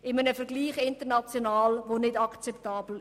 In einem internationalen Vergleich ist diese nicht akzeptabel.